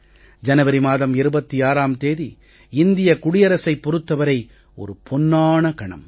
ஜனவரி மாதம் 26ம் தேதி இந்திய குடியரசைப் பொறுத்த வரை ஒரு பொன்னான கணம்